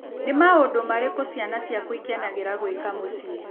Nĩ maũndũ marĩkũ ciana ciaku ikenagĩra gwĩka mũciĩ?